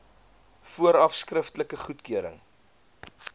vooraf skriftelike goedkeuring